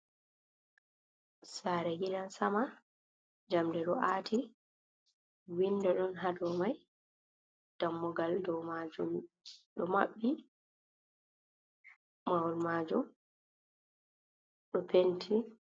Sare gidan sama jamɗe do a'ati winɗo don ha domai ɗammugal dow majum do maɓɓi mawol majum ɗo penti.